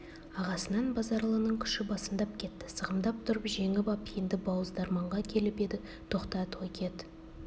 ағасынан базаралының күші басымдап кетті сығымдап тұрып жеңіп ап енді бауыздарманға келіп еді тоқтат ой кет